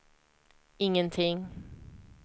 ingenting